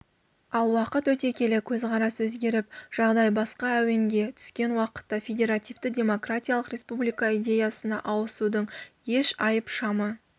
ал уақыт өте келе көзқарас өзгеріп жағдай басқа әуенге түскен уақытта федеративті демократиялық республика идеясына ауысудың еш айып-шамы